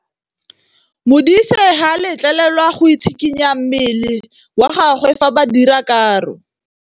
Modise ga a letlelelwa go tshikinya mmele wa gagwe fa ba dira karô.